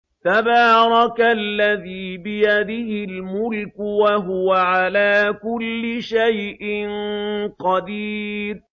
تَبَارَكَ الَّذِي بِيَدِهِ الْمُلْكُ وَهُوَ عَلَىٰ كُلِّ شَيْءٍ قَدِيرٌ